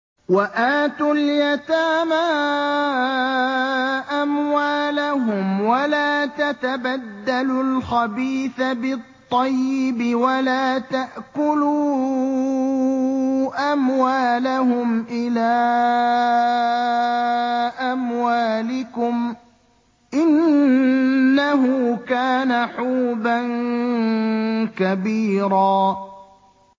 وَآتُوا الْيَتَامَىٰ أَمْوَالَهُمْ ۖ وَلَا تَتَبَدَّلُوا الْخَبِيثَ بِالطَّيِّبِ ۖ وَلَا تَأْكُلُوا أَمْوَالَهُمْ إِلَىٰ أَمْوَالِكُمْ ۚ إِنَّهُ كَانَ حُوبًا كَبِيرًا